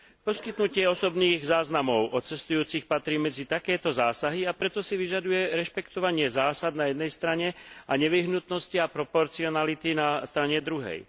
Poskytnutie osobných záznamov o cestujúcich patrí medzi takéto zásahy a preto si vyžaduje rešpektovanie zásad na jednej strane a nevyhnutnosti a proporcionality na strane druhej.